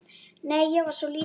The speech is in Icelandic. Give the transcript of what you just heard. Nei, ég var svo lítil.